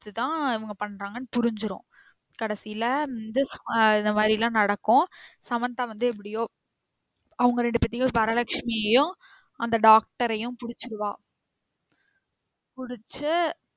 இதுதான் இவங்க பன்றங்கனு புரிஞ்சிரும். கடைசில வந்து ஆ இந்த மாறிலாம் நடக்கும். சமந்தா வந்து எப்டியோ அவங்க ரெண்டுபேத்தையும் வரலக்ஷ்மியயும் அந்த doctor ஐயும் பிடிச்சிருவா பிடிச்சு